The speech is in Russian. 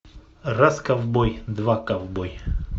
раз ковбой два ковбой